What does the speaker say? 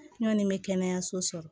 N kɔni bɛ kɛnɛyaso sɔrɔ